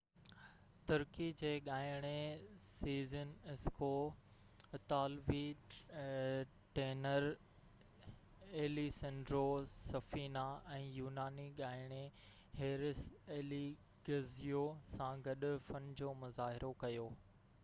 ترڪي جي ڳائڻي Sezen Aksu اطالوي ٽينر ايليسنڊرو سفينا ۽ يوناني ڳائڻي هيرس اليگزيو سان گڏ فن جو مظاهرو ڪيو